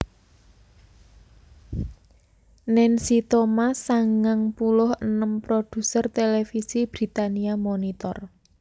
Nancy Thomas sangang puluh enem produser télévisi Britania Monitor